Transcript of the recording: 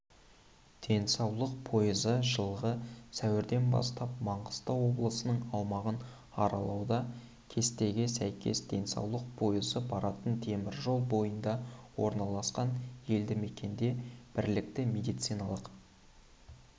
денсаулық пойызы жылғы сәуірден бастап маңғыстау облысының аумағын аралауда кестеге сәйкес денсаулық пойызы баратын теміржол бойында орналасқан елді мекенде білікті медициналық